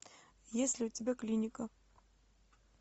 есть ли у тебя клиника